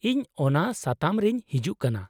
-ᱤᱧ ᱚᱱᱟ ᱥᱟᱛᱟᱢ ᱨᱤᱧ ᱦᱤᱡᱩᱜ ᱠᱟᱱᱟ ᱾